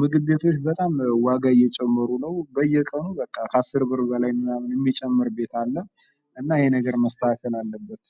ምግብ ቤቶች በጣም ዋጋ እየጨመሩ ነው በየቀኑ በቃ ከአስር ብር በላይ የሚጨምር አለ። እናት ይሄ ነገር መስተካከል አለበት።